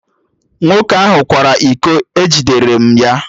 Nwoke ahụ kwara iko, e jidere m ya